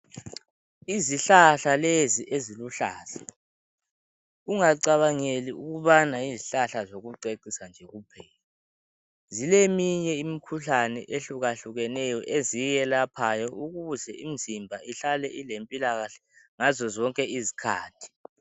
Izihlahla lezi eziluhlaza, ungacabangeli ukubana yizihlahla zokucecisa nje kuphela. Zileminye imikhuhlane ehlukahlukeneyo eziyelaphayo ukuze imizimba ihlale ilempilakahle ngazo zonke izikhathi.